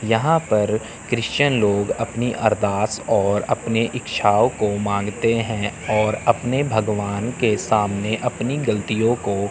यहां पर क्रिश्चियन लोग अपनी अरदास और अपने इच्छाओं को मांगते है और अपने भगवान के सामने अपनी गलतियों को--